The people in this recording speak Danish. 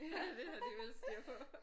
Ja det har de vel styr på